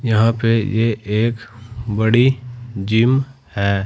यहां पे ये एक बड़ी जिम है।